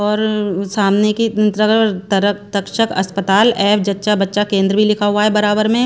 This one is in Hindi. और सामने की अ तर तरफ तक्षक अस्पताल एवं जच्चा बच्चा केंद्र भी लिखा हुआ है बराबर में--